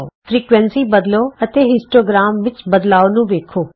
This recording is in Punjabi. ਫ੍ਰਿਕੁਏਂਸੀ ਬਦਲੋ ਅਤੇ ਹਿਸਟੋਗ੍ਰਾਮ ਵਿਚਲੇ ਬਦਲਾਉ ਦਾ ਨਿਰੀਖਣ ਕਰੋ